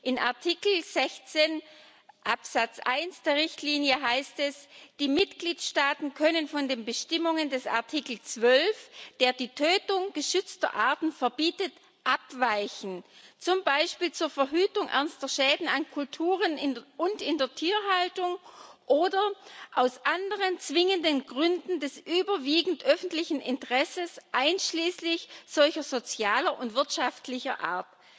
In Artikel 16 Absatz 1 der Richtlinie heißt es Die Mitgliedstaaten können von den Bestimmungen des Artikels 12, der die Tötung geschützter Arten verbietet, abweichen, zum Beispiel zur Verhütung ernster Schäden an Kulturen und in der Tierhaltung oder aus anderen zwingenden Gründen des überwiegend öffentlichen Interesses einschließlich solcher sozialer und wirtschaftlicher Art.